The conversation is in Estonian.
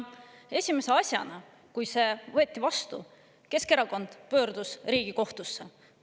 Esimese asjana, kui see võeti vastu, Keskerakond pöördus Riigikohtusse.